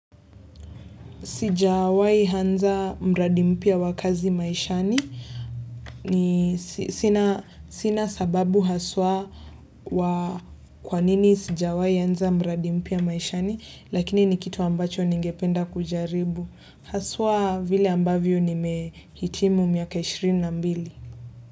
Sijawai anza mradi mpya wa kazi maishani ni sina sababu haswa wa kwanini sijawai anza mradi mpya maishani lakini ni kitu ambacho ningependa kujaribu. Haswa vile ambavyo nimehitimu miaka 22.